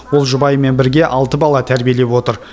ол жұбайымен бірге алты бала тәрбиелеп отыр